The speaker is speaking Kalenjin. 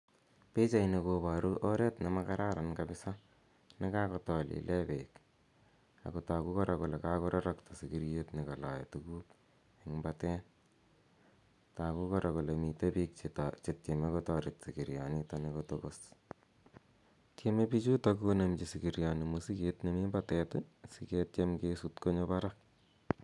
Pichaini koparu oret ne ma kararan kapsa ne kakotolile peek. Ako tagu kora kole kakorarakta sikiriet ne kalae tuguk eng' patet. Tagu kora kole mi pik che tareti pik sikirianitoni ko tokos. Tieme pichutok konemchi sikiriani mosiket nemi patet i, asiketiem ksuut konyo parak.